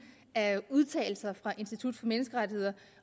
af udtalelser fra institut for menneskerettigheder